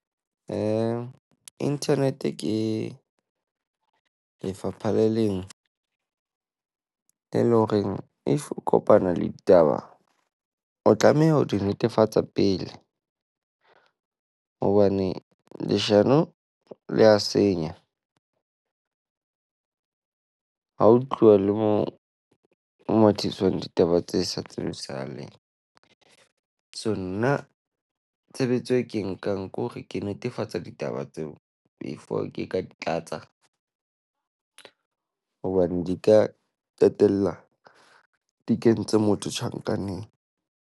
Internet ke lefapha le leng e leng horeng if o kopana le ditaba, o tlameha ho di netefatsa pele. Hobane leshano le a senya. Ha ho tluwa le mo mo tiswang ditaba tse sa tsibisahaleng. So nna tshebetso e ke e nkang ko hore ke netefatsa ditaba tseo before ke ka di tlatsa, hobane di ka qetella di kentse motho tjhankaneng.